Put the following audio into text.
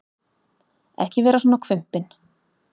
Ekki vera svona hvumpinn.